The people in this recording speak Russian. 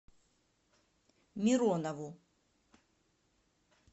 миронову